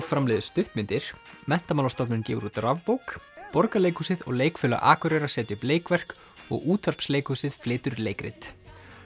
framleiðir stuttmyndir Menntamálastofnun gefur út rafbók Borgarleikhúsið og Leikfélag Akureyrar setja upp leikverk og útvarpsleikhúsið flytur leikrit